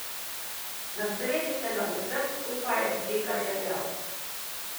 Na sredi se nad vsem skupaj dviga žerjav.